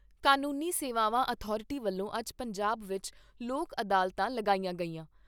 ਕਾਨੂੰਨੀ ਸੇਵਾਵਾਂ ਅਥਾਰਟੀ ਵੱਲੋਂ ਅੱਜ ਪੰਜਾਬ ਵਿਚ ਲੋਕ ਅਦਾਲਤਾਂ ਲਗਾਈਆਂ ਗਈਆਂ।